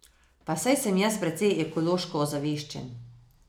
Pa saj sem jaz precej ekološko ozaveščen.